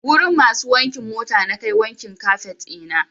Wurin masu wankin mota nakai wankin kafet ɗina.